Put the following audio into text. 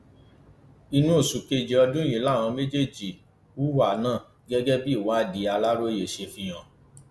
inú oṣù kejì ọdún yìí làwọn méjèèjì hùwà náà gẹgẹ bí ìwádìí aláròye ṣe fi hàn